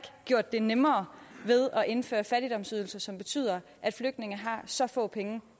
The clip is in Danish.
gjort det nemmere ved at indføre fattigdomsydelser som betyder at flygtninge har så få penge